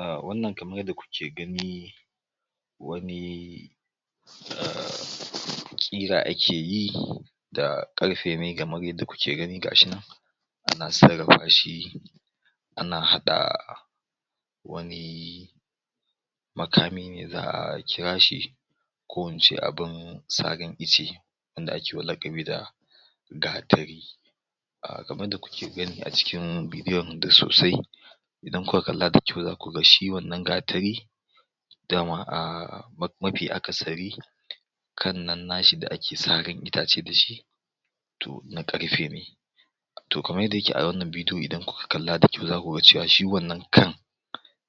ah wannan kamar yadda kuke gani wani ƙira ake yi da ƙarfe ne kamar yadda kuke gani ga shi nan ana sarrafa shi ana haɗa wani makami ne za'a kira shi ko ince abun sarin ice wanda akewa laƙabi da gatari kamar yadda kuke gani a cikin videon da sosai idan kuka kalla da kyau zaku ga shi wannan gatari dama ahhh mafi akasari kan nan na shi da ake sarin itace da shi to na ƙarfe ne to kamar yadda yake a wannan bidiyo idan kuka kalla da kyau zaku ga cewa shi wannan kan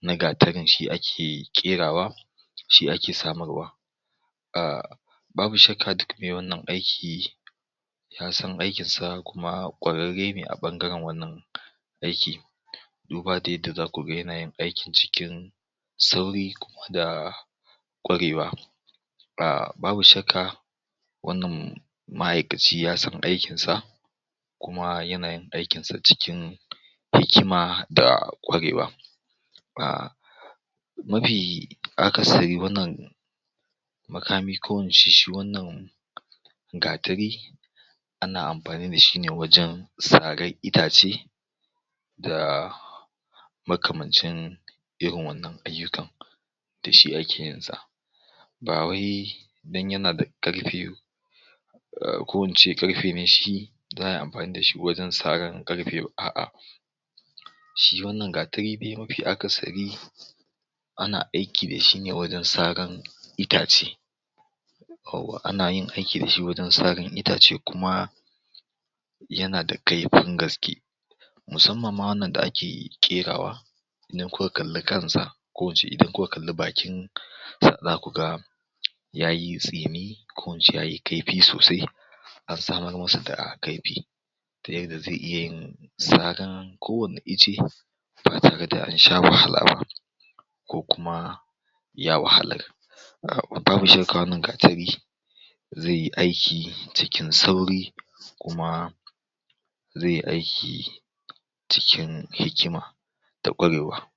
na gatarin shi ake ƙerawa shi ake samarwa ahh babu shakka duk me wannan aiki ya san aikin sa kuma ƙwararre ne a ɓangaren wannan aiki duba da yadda zaku ga yana yin aikin cikin sauri kuma da ƙwarewa babu shakka wannan ma'aikaci ya san aikin sa kuma yana yin aikin sa cikin hikima da ƙwarewa mafi akasari wannan makami ko ince shi wannan gatari ana amfani da shi ne wajen saran itace da makamancin irin wannan ayyukan da shi ake yin sa ba wai dan yana da ƙarfi ko in ce ƙarfe ne shi za'a yi amfani da shi wajen saran ƙarfe a'a shi wannan gatari mafi akasari ana aiki da shi wajen saran itace ana yin aiki da shi waje saran itace kuma yana da kaifin gaske musamman ma wannan da ake ƙerawa idan kuka kalli kansa ko in ce idan kuka kalli bakin zaku ga yayi tsini ko ince yayi kaifi sosai an samar masa da kaifi ta yadda ze iya yin saran kowane ice ba tare da an sha wahala ba ko kuma ya wahalar wannan gatari ze yi aiki cikin sauri kuma ze yi aiki cikin hikima da ƙwarewa